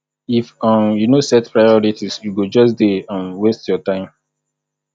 if um you no set priorities you go just dey um waste your time